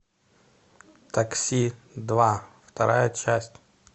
такси два вторая часть